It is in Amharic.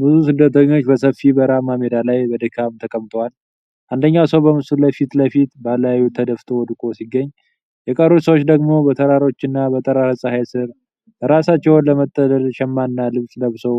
ብዙ ስደተኞች በሰፊ በረሃማ ሜዳ ላይ በድካም ተቀምጠዋል። አንደኛው ሰው በምስሉ ፊት ለፊት በላዩ ተደፍቶ ወድቆ ሲገኝ፣ የተቀሩት ሰዎች ደግሞ በተራሮችና በጠራራ ፀሐይ ስር ራሳቸውን ለመጠለል ሸማና ልብስ ለብሰው